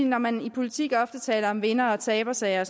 når man i politik ofte taler om vinder og tabersager